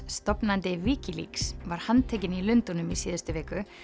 stofnandi Wikileaks var handtekinn í Lundúnum í síðustu viku